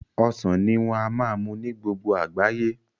Ọsàn ní wọ́n á ma mú ní gbogbo àgbáyé